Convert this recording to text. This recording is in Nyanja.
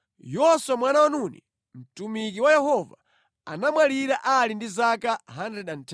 Yoswa mwana wa Nuni, mtumiki wa Yehova, anamwalira ali ndi zaka 110.